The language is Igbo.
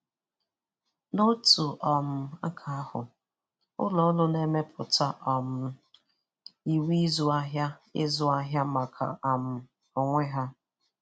N'otu um aka ahụ, ụlọ ọrụ na-emepụta um nyiwe ịzụ ahịa ịzụ ahịa maka um onwe ha.